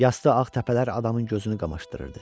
Yastı ağ təpələr adamın gözünü qamaşdırırdı.